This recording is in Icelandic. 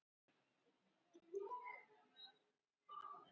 Ég kann ekki nógu vel við það.